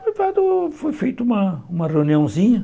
Noivado foi feito uma uma reuniãozinha.